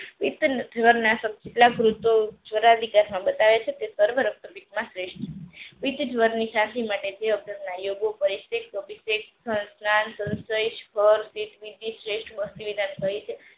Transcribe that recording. બતાવે છે તે સર્વ રક્તપિતમાં શ્રેષ્ઠ છે